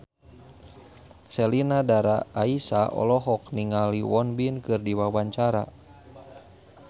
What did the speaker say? Sheila Dara Aisha olohok ningali Won Bin keur diwawancara